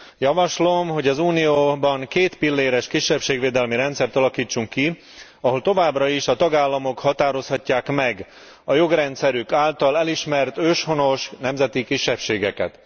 Javaslom, hogy az Unióban kétpilléres kisebbségvédelmi rendszert alakítsunk ki, ahol továbbra is a tagállamok határozhatják meg a jogrendszerük által elismert őshonos, nemzeti kisebbségeket.